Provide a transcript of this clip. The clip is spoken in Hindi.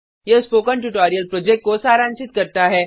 यह स्पोकन ट्यूटोरियल प्रोजेक्ट को सारांशित करता है